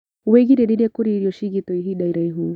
Wĩgirĩrĩrie kũrĩa irio ciigĩtwo ihinda iraihu